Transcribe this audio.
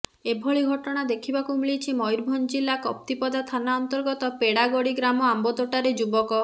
ଏଭଳି ଘଟଣା ଦେଖିବାକୁ ମିଳିଛି ମୟୂରଭଞ୍ଜ ଜିଲ୍ଲା କପ୍ତିପଦା ଥାନା ଅନ୍ତର୍ଗତ ପେଡ଼ାଗଡ଼ି ଗ୍ରାମ ଆମ୍ବତୋଟାରେ ଯୁବକ